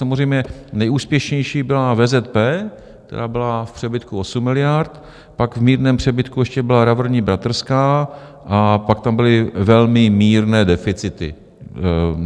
Samozřejmě nejúspěšnější byla VZP, která byla v přebytku 8 miliard, pak v mírném přebytku ještě byla Revírní bratrská a pak tam byly velmi mírné deficity.